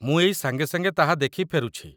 ମୁଁ ଏଇ ସାଙ୍ଗେ ସାଙ୍ଗେ ତାହା ଦେଖି ଫେରୁଛି।